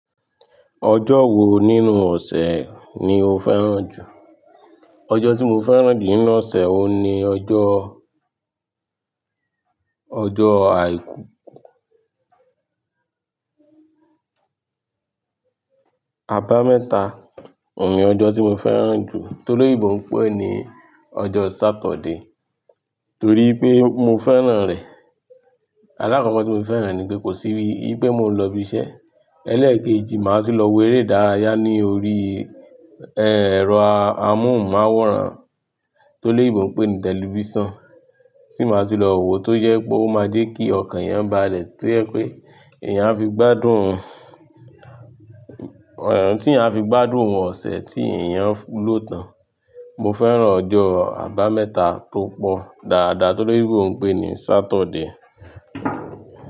Ọjọ́ wo nínú ọ̀sẹ̀ ni o fẹ́ràn jù? Ọjọ́ tí mo fẹ́ràn jù nínú ọ̀sẹ̀ wo ni ọjọ́, ọjọ́ Àbámẹ́ta. Òun ni ọjọ́ tí mo fẹ́ràn jù toloyinbo n pé ni ọjọ́ Saturday. Torí pé mo fẹ́ràn rẹ̀. Alakọkọ tí mo fi fẹ́ràn ẹ ní pé kò sí i pé mo ń lọ ibi iṣẹ́. Elẹ́ẹ̀kejì, màá tun lọ wo eré ìdárayá ní orí, ẹ́, ẹ̀rọ amóhùnmáwòrán toloyinbo n pé ni tẹlifíṣàn. Tí màá sì lọ wo tó jẹ pe ó máa jẹ́ kí ọkàn yan balẹ, tó jẹ pé eeyan á fi gbádùn, tí eeyan a fi gbádùn ọ̀sẹ̀ tí èèyàn lòtàn. Mo fẹ́ràn ọjọ́ abámẹ́ta tó pọ̀ dáadáa toloyinbo n pé ni Saturday.